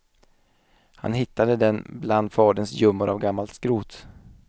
Han hittade den bland faderns gömmor av gammalt skrot.